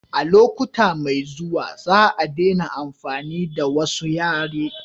a lokuta mai zuwa za a dena amfani da wasu yare